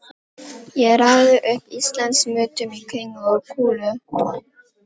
Ég raðaði upp Íslandsmetum í kringlu og kúlu.